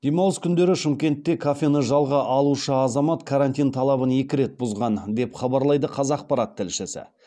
демалыс күндері шымкентте кафені жалға алушы азамат карантин талабын екі рет бұзған деп хабарлайды қазақпарат тілшісі